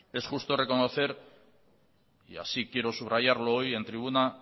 es justo reconocer y así quiero subrayarlo hoy en tribuna